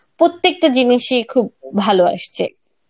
প্রত্যেকটা জিনিসই খুব ভালো আসছে.